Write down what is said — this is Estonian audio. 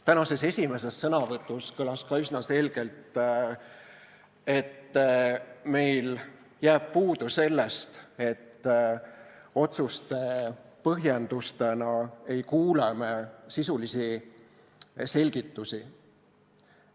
Tänases esimeses sõnavõtus kõlas ka üsna selgelt, millest meil puudu jääb – otsuste põhjendustena ei kuule me sisulisi selgitusi.